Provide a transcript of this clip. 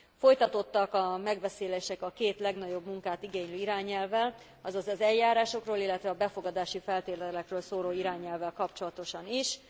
Folytatódtak a megbeszélések a két legnagyobb munkát igénylő irányelvvel, azaz az eljárásokról, illetve a befogadási feltételekről szóló irányelvvel kapcsolatosan is.